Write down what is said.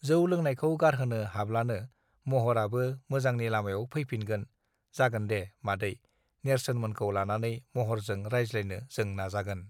जौं लोंनायखौ गारहोनो हाब्लानो महराबो मोजांनि लामायाव फैफिनगोन जागोनदे मादै नेर्सोन मोनखौ लानानै महरजों रायज्लायनो जों नाजागोन